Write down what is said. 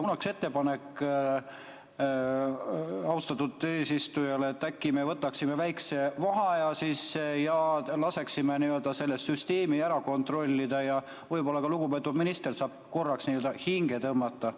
Mul on ettepanek austatud eesistujale, et äkki me võtaksime väikese vaheaja ja laseksime selle süsteemi üle kontrollida ja ka lugupeetud minister saab korraks hinge tõmmata.